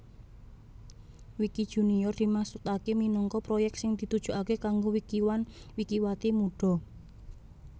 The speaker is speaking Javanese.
Wikijunior dimaksudaké minangka proyèk sing ditujokaké kanggo wikiwan wikiwati mudha